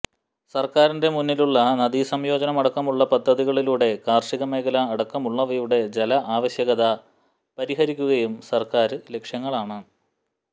സര്ക്കാരിന്റെ മുന്നിലുളള നദീ സംയോജനം അടക്കമുളള പദ്ധതികളിലൂടെ കാര്ഷിക മേഖല അടക്കമുളളവയുടെ ജല ആവശ്യകത പരിഹരിക്കുകയും സര്ക്കാര് ലക്ഷ്യങ്ങളാണ്